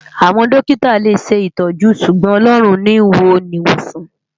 Awòn dòkitá lé ṣétòjú ṣúgbòn Òlòrún ni wònisán